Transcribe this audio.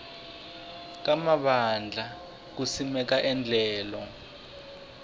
ka mavandla ku simeka endlelo